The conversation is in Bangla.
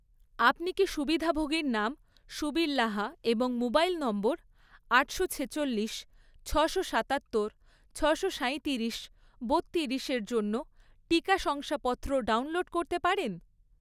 আপনি কি সুবিধাভোগীর নাম সুবীর লাহা এবং মোবাইল নম্বর আটশো ছেচল্লিশ, ছশো সাতাত্তর, ছশো সাঁইতিরিশ, বত্তিরিশ এর জন্য টিকা শংসাপত্র ডাউনলোড করতে পারেন?